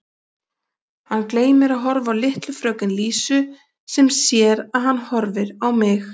Hann gleymir að horfa á litlu fröken Lísu sem sér að hann horfir á mig.